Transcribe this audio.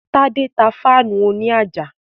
Tádé tá fáànù òní àjà